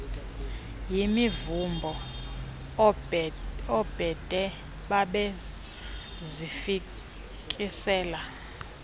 yimivumbo oobhede babezifikisela